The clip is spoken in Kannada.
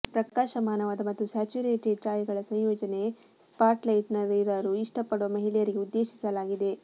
ಪ್ರಕಾಶಮಾನವಾದ ಮತ್ತು ಸ್ಯಾಚುರೇಟೆಡ್ ಛಾಯೆಗಳ ಸಂಯೋಜನೆ ಸ್ಪಾಟ್ಲೈಟ್ನಲ್ಲಿರಲು ಇಷ್ಟಪಡುವ ಮಹಿಳೆಯರಿಗೆ ಉದ್ದೇಶಿಸಲಾಗಿದೆ